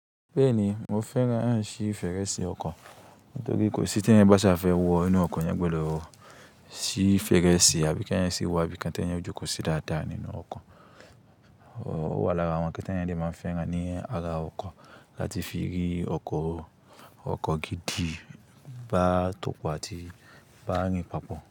Bẹ́ẹ̀ni, mo fẹ́ràn ṣí fèrèsé ọkọ̀ nítorí kò sí tẹ́eyan bá ṣà fẹ́ wọ inú ọkọ̀ eeyan gbọdọ̀ ṣí fèrèsé àbí kí ẹeyan ṣí wá bí i kan ti eẹyan ó jókòó sí dáadáa nínú ọkọ̀. Ó wà lára àwọn nnkan ẹeyan lè máa fẹ́ràn ní ara ọkọ̀ láti fi rí ọkọ̀, ọkọ̀ gidi bá tòpò àti bá rìn pàpọ̀.